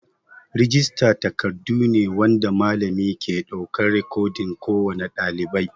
Rijista takardun ne wanda malami ke ɗaukar rikodin kowane ɗalibai.